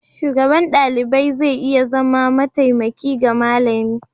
Shugaban ɗalibai zai iya zama mataimaki ga malami.